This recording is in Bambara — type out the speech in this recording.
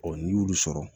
n'i y'olu sɔrɔ